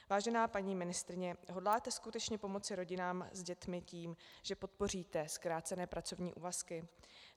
Vážená paní ministryně, hodláte skutečně pomoci rodinám s dětmi tím, že podpoříte zkrácené pracovní úvazky?